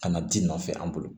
Ka na ji nɔfɛ an bolo